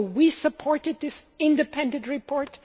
one. You know we supported this independent report.